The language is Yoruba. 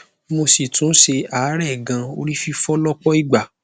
mo si tún se aarẹ gan ori fifo lọpọ ìgbà